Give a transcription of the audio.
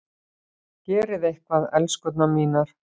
Gerið eitthvað, elskurnar mínar!